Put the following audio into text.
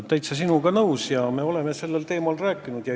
Ma olen sinuga täitsa nõus ja me oleme sellel teemal rääkinud.